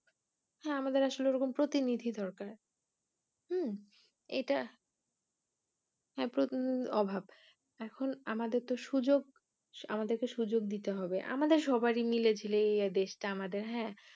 হ্যা আমাদের আসলে ওরকম প্রতিনিধি দরকার হম এটা অভাব এখন আমাদের তো সুযোগ আমাদেরকে সুযোগ দিতে হবে আমাদেরি মিলে ঝিলে দেশটা আমাদের হ্যা।